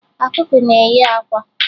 Ọkụkọ na-eyi àkwá